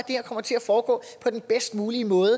her kommer til at foregå på den bedst mulige måde